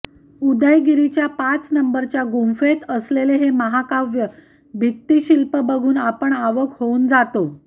उदयगिरीच्या पांच नंबरच्या गुंफेत असलेले हे महाकाय भित्तीशिल्प बघून आपण अवाक होऊन जातो